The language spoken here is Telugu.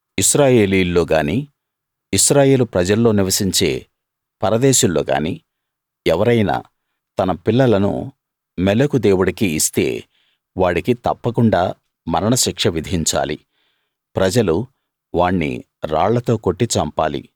ఇశ్రాయేలీయుల్లో గానీ ఇశ్రాయేలు ప్రజల్లో నివసించే పరదేశుల్లోగాని ఎవరైనా తన పిల్లలను మోలెకు దేవుడికి ఇస్తే వాడికి తప్పకుండా మరణ శిక్ష విధించాలి ప్రజలు వాణ్ణి రాళ్లతో కొట్టి చంపాలి